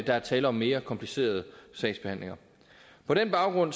er tale om mere komplicerede sagsbehandlinger på den baggrund